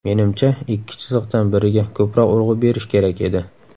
Menimcha, ikki chiziqdan biriga ko‘proq urg‘u berish kerak edi.